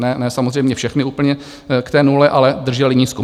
Ne samozřejmě všechny úplně k té nule, ale držely nízko.